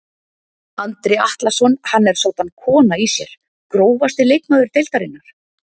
Andri Atlason hann er soddan kona í sér Grófasti leikmaður deildarinnar?